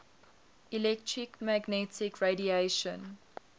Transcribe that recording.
electromagnetic radiation